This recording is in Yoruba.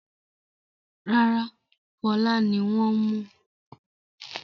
Rárá, Fọlá ni wọ́n mú.